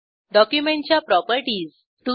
डॉक्युमेंटच्या प्रॉपर्टीज